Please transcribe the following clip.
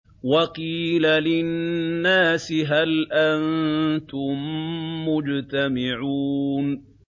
وَقِيلَ لِلنَّاسِ هَلْ أَنتُم مُّجْتَمِعُونَ